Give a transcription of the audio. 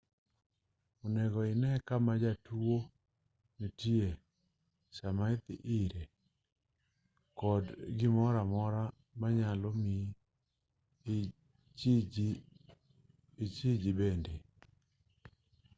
onego ine kama jatuo nitie sama idhi ire kod gimoro amora manyalo mi ichiji bende